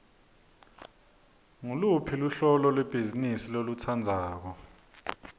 nguluphi luhlobo lwebhizimisi lolutsandzako